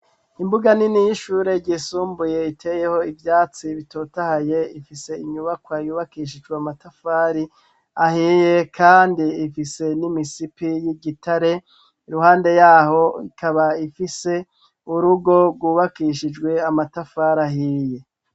Imbuga nini y'ishure ryisumbuye iteyeho ivyatsi bitotahaye ifise inyubakwa yubakishijwe amatafari ahiye kandi ifise n'imisipi y'igitare ; iruhande yaho ikaba ifise urugo rwubakishijwe amatafari ahiye.